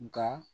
Nka